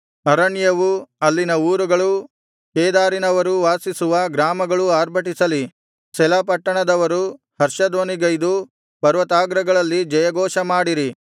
ಅರಣ್ಯವೂ ಅಲ್ಲಿನ ಊರುಗಳೂ ಕೇದಾರಿನವರು ವಾಸಿಸುವ ಗ್ರಾಮಗಳೂ ಆರ್ಭಟಿಸಲಿ ಸೆಲ ಪಟ್ಟಣದವರು ಹರ್ಷಧ್ವನಿಗೈದು ಪರ್ವತಾಗ್ರಗಳಲ್ಲಿ ಜಯಘೋಷ ಮಾಡಿರಿ